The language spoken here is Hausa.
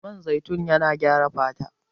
Man zaitun na gyara fata